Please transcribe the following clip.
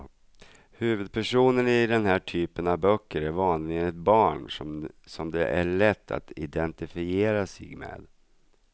Huvudpersonen i den här typen av böcker är vanligen ett barn som det är lätt att identifiera sig med.